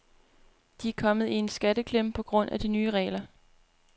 De er kommet i en skatteklemme på grund af de nye regler.